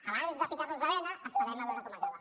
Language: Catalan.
abans de ficar nos la bena esperem a veure com acaba